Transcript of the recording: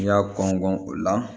N'i y'a kɔn kɔn o la